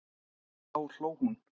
Þá hló hún.